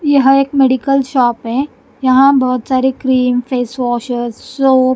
यह एक medical shop है यहां बहुत सारे क्रीम फेस वाशेस सोप --